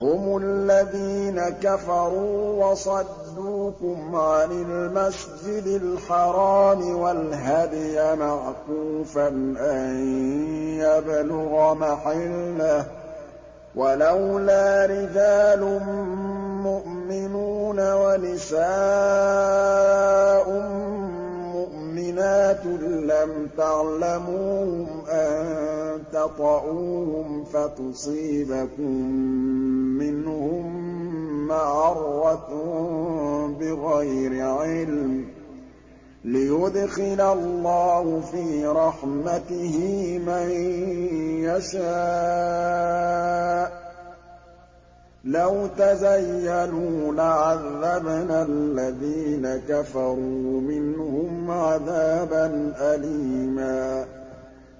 هُمُ الَّذِينَ كَفَرُوا وَصَدُّوكُمْ عَنِ الْمَسْجِدِ الْحَرَامِ وَالْهَدْيَ مَعْكُوفًا أَن يَبْلُغَ مَحِلَّهُ ۚ وَلَوْلَا رِجَالٌ مُّؤْمِنُونَ وَنِسَاءٌ مُّؤْمِنَاتٌ لَّمْ تَعْلَمُوهُمْ أَن تَطَئُوهُمْ فَتُصِيبَكُم مِّنْهُم مَّعَرَّةٌ بِغَيْرِ عِلْمٍ ۖ لِّيُدْخِلَ اللَّهُ فِي رَحْمَتِهِ مَن يَشَاءُ ۚ لَوْ تَزَيَّلُوا لَعَذَّبْنَا الَّذِينَ كَفَرُوا مِنْهُمْ عَذَابًا أَلِيمًا